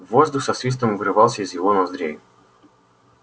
воздух со свистом вырывался из его ноздрей